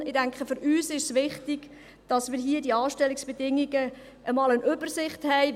» Ich denke, für uns ist es wichtig, dass wir hier bei den Anstellungsbedingungen einmal eine Übersicht haben.